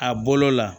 A bolo la